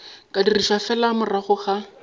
ka dirišwa fela morago ga